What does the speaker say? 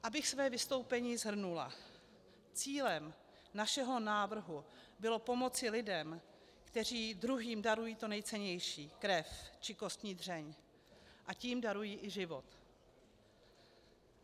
Abych své vystoupení shrnula, cílem našeho návrhu bylo pomoci lidem, kteří druhým darují to nejcennější, krev či kostní dřeň, a tím darují i život.